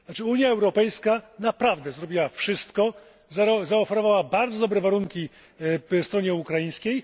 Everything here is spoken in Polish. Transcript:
Unia Europejska naprawdę zrobiła wszystko, zaoferowała bardzo dobre warunki stronie ukraińskiej.